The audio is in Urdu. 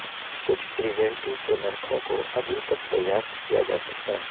کچھ پریزنٹی کے نرخوں کو ابھی تک دریافت کیا جاسکتا ہے